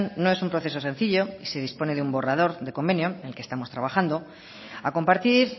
no es un proceso sencillo y se dispone de un borrador de convenio en el que estamos trabajando a compartir